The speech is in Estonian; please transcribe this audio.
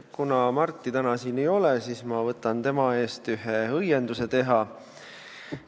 Kuna Marti täna siin ei ole, siis ma võtan tema eest ühe õienduse teha.